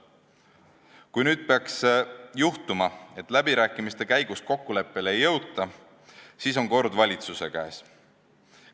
Kui nüüd peaks juhtuma, et läbirääkimiste käigus kokkuleppele ei jõuta, siis on kord valitsuse käes.